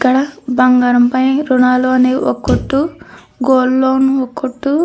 ఇక్కడ బంగారం పై ఋణాలు అని ఒక కొట్టు గోల్డ్ లోన్ ఒక కొట్టు --